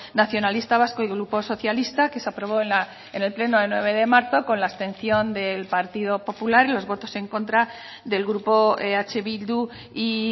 nacionalista vasco y grupo socialista que se aprobó en el pleno del nueve de marco con la abstención del partido popular y los votos en contra del grupo eh bildu y